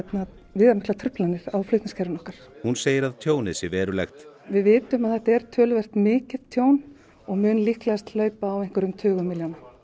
viðamiklar truflanir á flutningskerfi okkar hún segir að tjónið sé verulegt við vitum að þetta er töluvert mikið tjón og mun líklegast hlaupa á einhverjum tugum milljóna